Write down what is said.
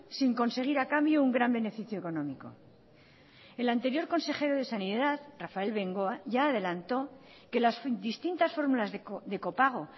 sin conseguir a cambio un gran beneficio económico el anterior consejero de sanidad rafael bengoa ya adelantó que las distintas fórmulas de copago